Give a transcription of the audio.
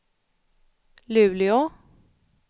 Luleå